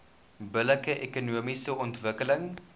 billike ekonomiese ontwikkeling